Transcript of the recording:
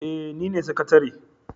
Eh nine sakatare.